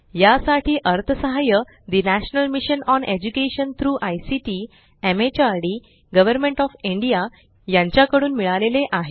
यासाठी अर्थसहाय्य ठे national mission on education through ICT MHRD government of India यांच्या कडून मिळाले आहे